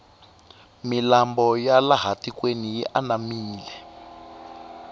milambo ya laha tikweni yi anamile